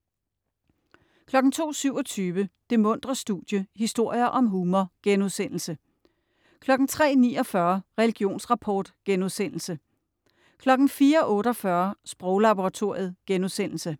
02.27 Det muntre studie - historier om humor* 03.49 Religionsrapport* 04.48 Sproglaboratoriet*